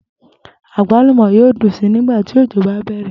Àgbàlúmò̩ yóò dùn si nigba tí òjò bá bè̩rè̩